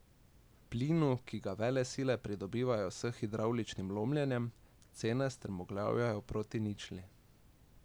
Plinu, ki ga velesile pridobivajo s hidravličnim lomljenjem, cene strmoglavljajo proti ničli.